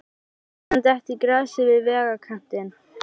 Hann lét hann detta í grasið við vegarkantinn.